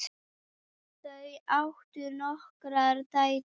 Þau áttu nokkrar dætur.